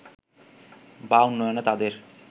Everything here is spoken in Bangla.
বা উন্নয়নে তাদের